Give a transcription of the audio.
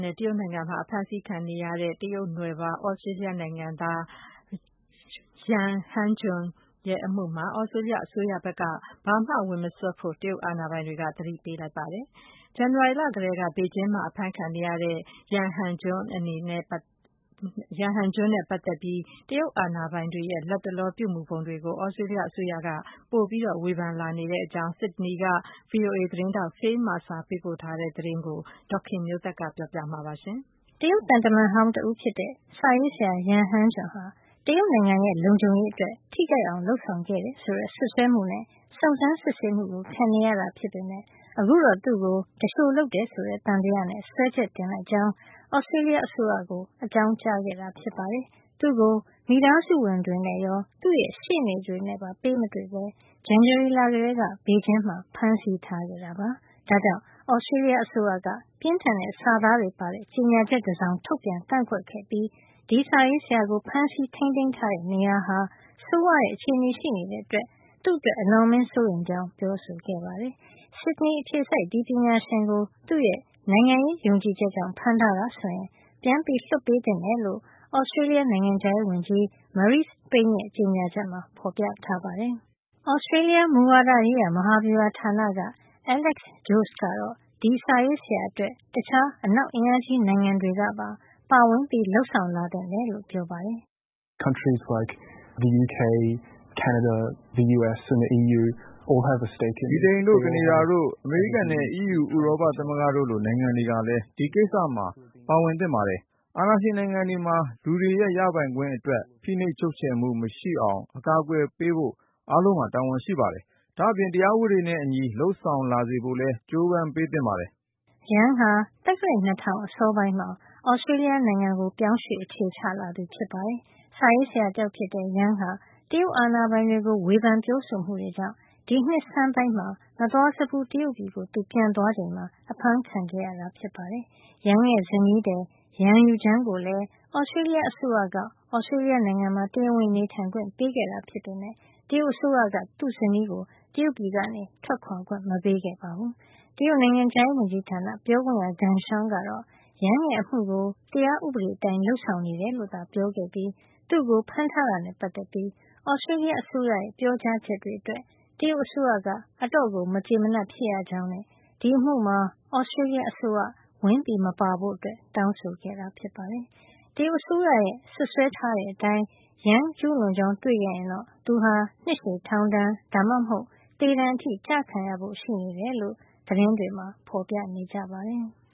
နဲ့ တရုတ်နိုင်ငံမှာ အဖမ်းဆီးခံနေရတဲ့ တရုတ်နွယ်ဖွား သြစတေးလျနိုင်ငံသား ရန်ဟန်းဂျွန်ရဲ့ အမှုမှာ သြစတေးလျ အစိုးရဘက်က ဘာမှဝင်မစွက်ဖို့ တရုတ်အာဏာပိုင်တွေက သတိပေးလိုက်ပါတယ်။ ဇန်နဝါရီလကတည်းက ဘေဂျင်းမှာ အဖမ်းခံနေရတဲ့ ရန် ဟန်းဂျွန် နဲ့ ပတ်သက်ပြီး လတ်တလော တရုတ်အာဏာပိုင်တွေရဲ့ လုပ်ဆောင်မှုတွေကိုတော့ သြစတေးလျ အစိုးရက ပိုပြီး ဝေဖန်လာနေကြောင်း ဆစ်ဒနီက VOA သတင်းထောက် Phil Mercer ပေးပို့တဲ့ သတင်းကို ဒေါ်ခင်မျိုးသက်က ပြောပြပေးမှာပါ။ တရုတ်သံတမန်ဟောင်းတဦးဖြစ်တဲ့ စာရေးဆရာ ရန်ဟန်းဂျွန် ဟာ တရုတ်နိုင်ငံရဲ့ လုံခြုံရေးအတွက် ထိခိုက်အောင် လုပ်ဆောင်ခဲ့တယ်ဆိုတဲ့ စွပ်စွဲမှုနဲ့ စုံစမ်းစစ်ဆေးမှု ခံနေရတာ ဖြစ်ပေမယ့် အခုတော့ သူ့ကို သူလျှိုလုပ်တယ်ဆိုတဲ့ သံသယနဲ့ စွဲချက်တင်လိုက်ကြောင်း သြစတေးလျ အစိုးရကို အကြာင်းကြားခဲ့တာ ဖြစ်ပါတယ်။ သူ့ကို မိသားစုဝင်တွေနဲ့ရော သူ့ရဲ့ ရှေ့နေတွေနဲ့ပါ ပေးမတွေ့ပဲ ဇန်နဝါရီလကတည်းက ဘေဂျင်းမှာ ဖမ်းဆီးထားခဲ့တာပါ။ ဒါကြောင့် သြစတေးလျ အစိုးရက ပြင်းထန်တဲ့စာသားတွေပါတဲ့ ကြေညာချက်တစောင် ထုတ်ပြန်ကန့်ကွက်ခဲ့ပြီး ဒီစာရေးဆရာကို ဖမ်းဆီးထိန်းသိမ်းထားတဲ့ နေရာဟာ ဆိုးဝါးတဲ့ အခြေနေရှိတဲ့အတွက် သူ့အတွက် အလွန်အမင်းစိုးရိမ်ကြောင်း ပြောဆိုခဲ့ပါတယ်။ဆစ်ဒနီ အခြေစိုက် ဒီပညာရှင်ကို သူ့ရဲ့ နိုင်ငံရေးယုံကြည်ချက်ကြောင့် ဖမ်းထားတာဆိုရင် ပြန်လွှတ်ပေးသင့်တယ်လို့ သြစတေးလျ နိုင်ငံခြားရေးဝန်ကြီး Marise Payne ရဲ့ ကြေညာချက်မှာ ဖေါ်ပြထားပါတယ်။ သြစတေးလျ မူဝါဒရေးရာ မဟာဗျူဟာ ဌာန က Alex Joske ကတော့ ဒီစာရေးဆရာအတွက် တခြား အနောက်အင်အားကြီး နိုင်ငံတွေကပါ ပါဝင် လုပ်ဆောင် လာသင့်တယ်လို့ ပြောပါတယ်။ “ ဗြိတိန်တို့ ကနေဒါတို့ အမေရိကန်နဲ့ အီးယူ ဥရောပသမဂ္ဂတို့လို နိုင်ငံတွေကလည်း ဒီကိစ္စမှာ ဝင်ပါသင့်ပါတယ်။ အာဏာရှင်နိုင်ငံတွေမှာ လူတွေရဲ့ ရပိုင်ခွင့်အတွက် ဖိနှိပ်ချုပ်ချယ်မှုမရှိအောင် အကာကွယ်ပေးဖို့ အားလုံးမှာ တာဝန်ရှိပါတယ်။ ဒါ့အပြင် တရားဥပဒေနဲ့ အညီ လုပ်ဆောင် လာစေဖို့လည်း ကြိုးပမ်းပေးသင့်ပါတယ်။” Yang ဟာ သက္ကရာဇ် ၂၀၀၀ အစောပိုင်းမှာ သြစတေးလျကို ပြောင်းရွှေ့အခြေချလာသူ ဖြစ်ပါတယ်။ စာရေးဆရာတယောက်ဖြစ်တဲ့ Yang ဟာ တရုတ်အာဏာပိုင်တွေကို ဝေဖန်ပြောဆိုမှုတွေကြောင့် ဒီနှစ်ဆန်းပိုင်းမှာ မသွားစဖူး တရုတ်ပြည်ကို သူပြန်သွားချိန်မှာ အဖမ်းခံခဲ့ရတာ ဖြစ်ပါတယ်။ Yang ရဲ့ ဇနီးသည် ရန်ရူဂျန်း ကိုလည်း သြစတေးလျ အစိုးရက သြစတေးလျမှာ တရားဝင်နေထိုင်ခွင့် ပေးခဲ့တာဖြစ်ပေမယ့် တရုတ်အစိုးရက သူ့ဇနီးကို တရုတ်ပြည်ကနေ ထွက်ခွါခွင့် မပေးခဲ့ပါဘူး။ တရုတ်နိုင်ငံခြားရေးဝန်ကြီးဌာန ပြောခွင့်ရ ဂန်ရှောင် ကတော့ Yang ရဲ့ အမှုကို တရားဥပဒေအတိုင်း လုပ်ဆောင်နေတယ်လို့ ပြောခဲ့ပြီး သူ့ကို ဖမ်းထားတာ နဲ့ ပတ်သက်ပြီး သြစတေးလျ အစိုးရရဲ့ ပြောကြားချက်တွေအတွက် တရုတ်အစိုးရက အတော် မကျေမနပ် ဖြစ်ရကြောင်း နဲ့ ဒီအမှု မှာ သြစတေးလျ အစိုးရ ဝင်မပါဖို့ တောင်းဆိုခဲ့တာပါ။ တရုတ်အစိုးရ ရဲ့ စွပ်စွဲထားတဲ့အတိုင်း Yang ကျူးလွန်ကြောင်း တွေ့ခဲ့ရင်တော့ သူဟာ နှစ်ရှည် ထောင်ဒဏ် ဒါမှမဟုတ် သေဒဏ်အထိ ကျခံရဖို့ ရှိနေတယ်လို့ သတင်းတွေမှာ ဖေါ်ပြနေကြပါတယ်။